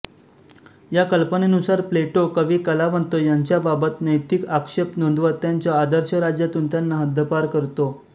या कल्पनेनुसार प्लेटो कवीकलावंत यांच्याबाबत नैतिक आक्षेप नोंदवत त्याच्या आदर्श राज्यातून त्यांना हद्दपार करतो